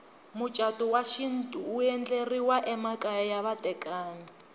mucatu wa xintu wu endleriwa emakaya ya vatekani